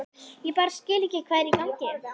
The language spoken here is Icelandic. Ég bara skil ekki hvað er í gangi.